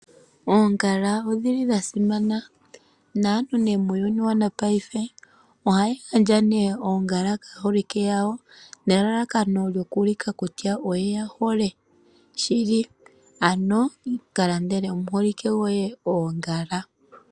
Oongala odhi li dha simana naantu nee muyuni wopaife ohaya gandja oongala kaaholike yawo nelalakano lyoku ulika kutya oye ya hole shili. Ano ka landele omuholike goye oongala.